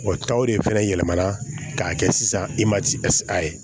Wa taw de fɛnɛ yɛlɛmana k'a kɛ sisan i ma ci a ye